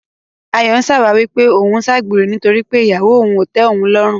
Ayọ̀ ń ṣàwáwí pé òun ń ṣàgbèrè nítorí pé ìyàwó òun ò tẹ́ òun lọ́rùn.